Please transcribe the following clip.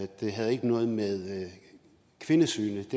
det havde ikke noget med kvindesynet at